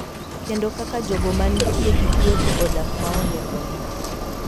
Kendo kaka jogo mantie gi tuoche odak maonge kony.